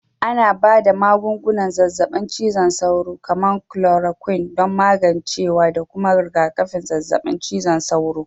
Ana ba da magungunan zazzabin cizon sauro, kamar kulorakwin, don magancewa da kuma rigakafin zazzabin cizon sauro